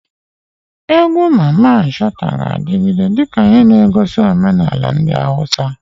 Egwu Mamman Shata ga-adigide dika ihe negosi omenala ndi Hausa.